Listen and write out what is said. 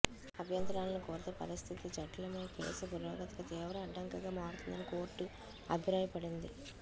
అభ్యంతరాలను కోరితే పరిస్థితి జఠిలమై కేసు పురోగతికి తీవ్ర అడ్డంకిగా మారుతుందని కోర్టు అభిప్రాయపడింది